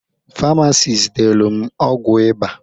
Farmasis delu m ọgwụ iba